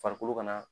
Farikolo ka na